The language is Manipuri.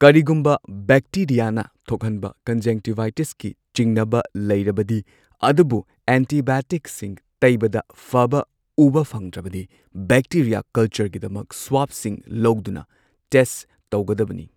ꯀꯔꯤꯒꯨꯝꯕ ꯕꯦꯛꯇꯦꯔꯤꯌꯥꯅ ꯊꯣꯛꯍꯟꯕ ꯀꯟꯖꯪꯇꯤꯚꯥꯏꯇꯤꯁꯀꯤ ꯆꯤꯡꯅꯕ ꯂꯩꯔꯕꯗꯤ, ꯑꯗꯨꯕꯨ ꯑꯦꯟꯇꯤꯕꯥꯏꯑꯣꯇꯤꯛꯁꯤꯡ ꯇꯩꯕꯗ ꯐꯕ ꯎꯕ ꯐꯪꯗ꯭ꯔꯕꯗꯤ, ꯕꯦꯛꯇꯦꯔꯤꯌꯥ ꯀꯜꯆꯔꯒꯤꯗꯃꯛ ꯁ꯭ꯋꯥꯕꯁꯤꯡ ꯂꯧꯗꯨꯅ ꯇꯦꯁꯠ ꯇꯧꯒꯗꯕꯅꯤ꯫